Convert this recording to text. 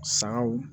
Sagaw